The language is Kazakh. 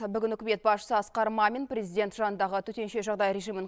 бүгін үкімет басшысы асқар мамин президент жанындағы төтенше жағдай режимін